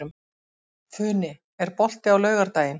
Funi, er bolti á laugardaginn?